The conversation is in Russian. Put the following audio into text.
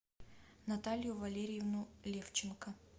наталью валериевну левченко